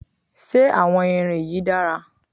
Ṣé àwọn irin yìí dára?